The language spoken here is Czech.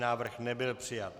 Návrh nebyl přijat.